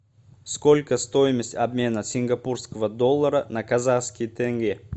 сколько стоимость обмена сингапурского доллара на казахский тенге